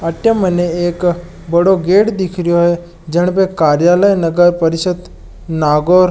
अठे मने एक बड़ो गेट दिख रेयो है जनपे कार्यालय नगर परिषद् नागोर --